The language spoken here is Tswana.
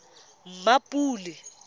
mmapule